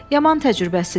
Yaman təcrübəsizsən.